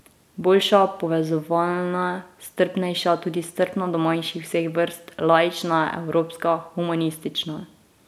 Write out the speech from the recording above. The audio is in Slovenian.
Boljša, povezovalna, strpnejša, tudi strpna do manjšin vseh vrst, laična, evropska, humanistična ...